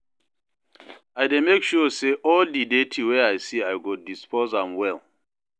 I dey mek sure say all di dirty wey I see i go dispose am well